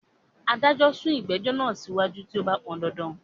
Adjourn the proceeding if necessary, Judge.